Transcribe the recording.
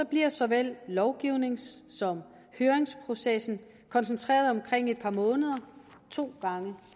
bliver såvel lovgivnings som høringsprocessen koncentreret omkring et par måneder to gange